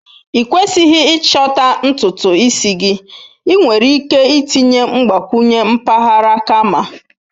Ịkwesighi ịchọta ntutu isi gị, ị nwere ike itinye mgbakwunye mpaghara kama.